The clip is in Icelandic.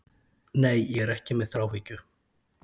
Nei, ég er ekki með þráhyggju.